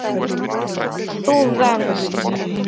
Þú venst.